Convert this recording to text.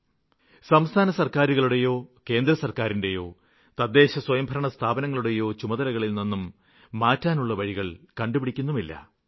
അതേസമയം സംസ്ഥാന സര്ക്കാരുകളെയോ കേന്ദ്രസര്ക്കാരിനെയോ തദ്ദേശസ്വയംഭരണസ്ഥാപനങ്ങളെയോ അവരുടെ ചുമതലകളില്നിന്നും ഒഴിഞ്ഞു മാറാനുള്ള വഴികള് കണ്ടുപിടിക്കുന്നുമില്ല